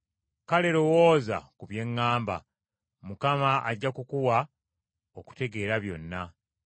Kale lowooza ku bye ŋŋamba; Mukama ajja kukuwa okutegeera byonna.